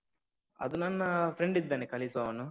ಅದು ನನ್ನ friend ಇದ್ದಾನೆ ಕಲಿಸುವವನು.